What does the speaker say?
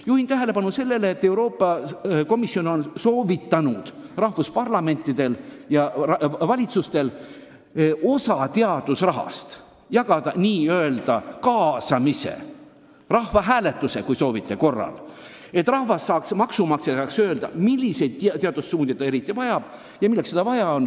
Juhin tähelepanu sellele, et Euroopa Komisjon on soovitanud riikide parlamentidel ja valitsustel osa teadusrahast jagada n-ö kaasamise, kui soovite, siis rahvahääletuse korras – et rahvas, maksumaksja saaks öelda, milliseid teadussuundi ta eriti vajab.